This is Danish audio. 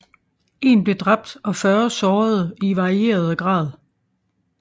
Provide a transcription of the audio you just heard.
En blev dræbt og 40 sårede i varierede grad